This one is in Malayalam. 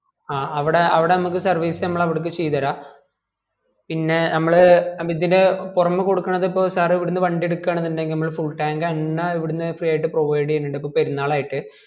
ആ അവിടെ അവിടെ നമുക്ക് service നമ്മള് അവിടേയ്ക് ചെയ്ത് തരാം പിന്നെ നമ്മള് ഇതിന് പൊറമെ കൊടുക്കുന്നത് ഇപ്പൊ sir ഇവിടുന്ന് വണ്ടി എടുക്കുവാണ് ഇന്ടെങ്കിൽ നമ്മൾ full tank എണ്ണ ഇവിടുന് free ആയിട്ട് provide ചെയുനിണ്ട് ഇപ്പൊ പെരുനാൾ ആയിട്ട്